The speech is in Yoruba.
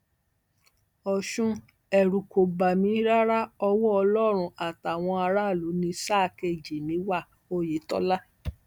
ọṣùn ẹrù kò bà mí rárá ọwọ ọlọrun àtàwọn aráàlú ní sáà kejì mi wá òyetòlá